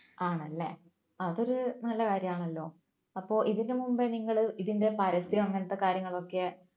ആണല്ലേ അതൊരു നല്ല കാര്യമാണല്ലോ അപ്പോ ഇതിനുമുമ്പ് നിങ്ങൾ ഇതിന്റെ പരസ്യോ അങ്ങനത്തെ കാര്യങ്ങളൊക്കെ